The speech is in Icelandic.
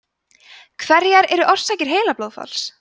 hverjar eru orsakir heilablóðfalls